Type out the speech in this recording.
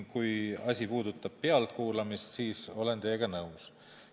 Kui asi puudutab pealtkuulamist, siis olen teiega nõus.